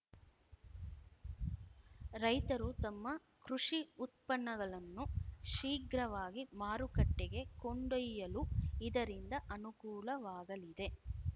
ರೈತರು ತಮ್ಮ ಕೃಷಿ ಉತ್ಪನ್ನಗಳನ್ನು ಶೀಘ್ರವಾಗಿ ಮಾರುಕಟ್ಟೆಗೆ ಕೊಂಡೊಯ್ಯಲು ಇದರಿಂದ ಅನುಕೂಲವಾಗಲಿದೆ